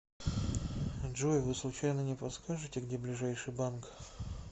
джой вы случайно не подскажите где ближайший банк